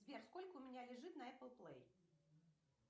сбер сколько у меня лежит на эппл плей